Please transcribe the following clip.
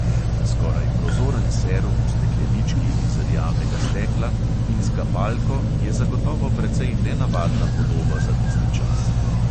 Skoraj prozoren serum v steklenički iz rjavega stekla in s kapalko je zagotovo precej nenavadna podoba za tisti čas.